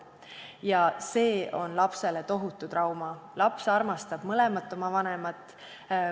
Ja see on lapsele tohutu trauma, laps armastab mõlemat oma vanemat.